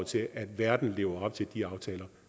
til at verden lever op til de aftaler